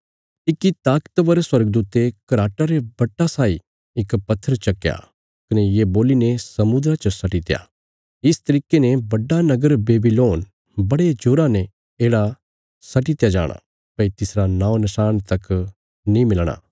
इक्की ताकतवर स्वर्गदूते घराटा रे बट्टा साई इक पत्थर चक्कया कने ये बोलीने समुद्रा च सट्टीत्या इस तरिके ने बड्डा नगर बेबीलोन बड़े जोरा ने येढ़ा सट्टीत्या जाणा भई तिसरा नौं नशाण तक नीं मिलणा